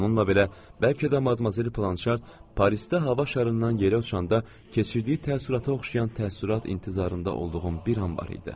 Bununla belə, bəlkə də Madmazel Planşart Parisdə hava şarından yerə uçanda keçirdiyi təəssürata oxşayan təəssürat intizarında olduğum bir an var idi.